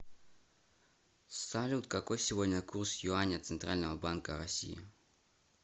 салют какой сегодня курс юаня центрального банка россии